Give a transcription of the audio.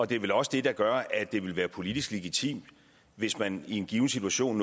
det er vel også det der gør at det ville være politisk legitimt hvis man i en given situation